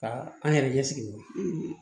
Ka an yɛrɛ ɲɛ sigi wa